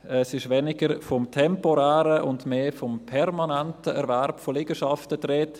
Es ist weniger vom temporären und mehr vom permanenten Erwerb von Liegenschaften die Rede.